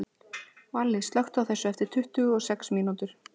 Valli, slökktu á þessu eftir tuttugu og sex mínútur.